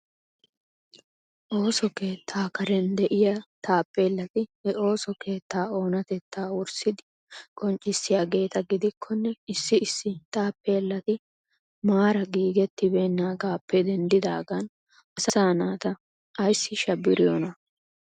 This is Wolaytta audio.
Ooso keetta karen de'iya taappellati he ooso keetta oonatetta wurssidi qonccissiyaageeta gidikkonne issi issi taappellati maara giigetibeenagappe denddidagan asa naata ayssi shabiriyoona?